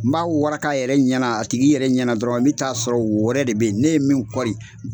N b'a waraka a yɛrɛ ɲɛna a tigi yɛrɛ ɲɛna dɔrɔn n bɛ t'a sɔrɔ wo wɛrɛ de bɛ yen ne ye min kɔri